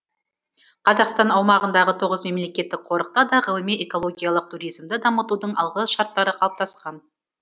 қазақстан аумағындағы тоғыз мемлекеттік қорықта да ғылыми экологиялық туризмді дамытудың алғы шарттары қалыптасқан